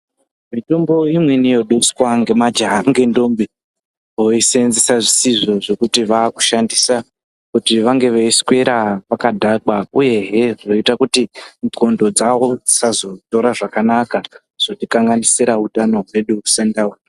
Mitombo imweni yoduswa ngemajaha ngendombi voiseenzesa zvisizvo zvokuti vaakushandisa kuti vange veiswera vakadhakwa uyehe zvoita kuti ndxndo dzavo dzisazotora zvakanaka. zvotikanganisira utano hwedu sendau.